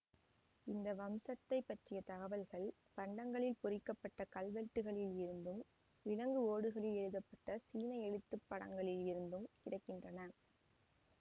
இந்த வம்சத்தைப் பற்றிய தகவல்கள் பண்டங்களில் பொறிக்க பட்ட கல்வெட்டுக்களில் இருந்தும் விலங்கு ஓடுகளில் எழுதப்பட்ட சீன எழுத்து படங்களில் இருந்தும் கிடை கின்றன